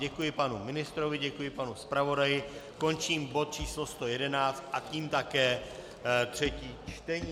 Děkuji panu ministrovi, děkuji panu zpravodaji, končím bod číslo 111 a tím také třetí čtení.